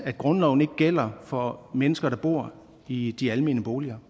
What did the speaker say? grundloven ikke gælder for mennesker der bor i de almene boliger